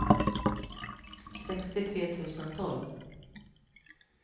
sextiotre tusen tolv